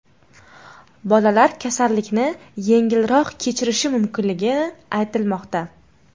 Bolalar kasallikni yengilroq kechirishi mumkinligi aytilmoqda.